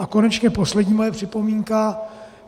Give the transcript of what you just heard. A konečně poslední moje připomínka.